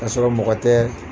ka sɔrɔ mɔgɔ tɛ